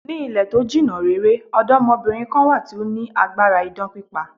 Ní ilẹ̀ to jìnna rere, ọ̀dọ́mọbìnrin kan wà tí ó fi agbára idán pípa.